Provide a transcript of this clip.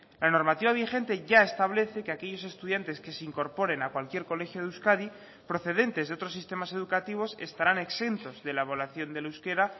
la normativa vigente ya establece que aquellos estudiantes que se incorporen a cualquier colegio de euskadi procedentes de otros sistemas educativos estarán exentos de la evaluación del euskera